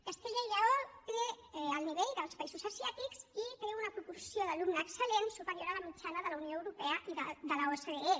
castella i lleó té el nivell dels països asiàtics i té una proporció d’alumne excel·lent superior a la mitjana de la unió europea i de l’ocde